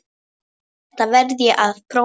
Þetta verð ég að prófa